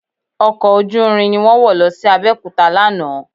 Ọkọ̀ ojúúrin ni mọ wọ̀ lọ sí Abẹ́òkúta lánàá